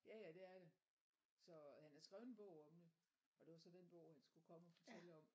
Ja ja det er det så han har skrvet en bog om det og det var så den bog han skulle komme og fortælle om